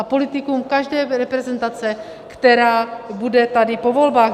A politikum každé reprezentace, která bude tady po volbách.